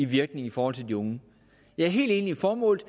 virkning i forhold til de unge jeg er helt enig i formålet